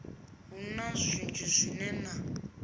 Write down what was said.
hu na zwinzhi zwine na